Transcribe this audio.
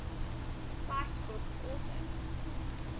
cite book author